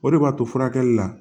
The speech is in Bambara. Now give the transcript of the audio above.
O de b'a to furakɛli la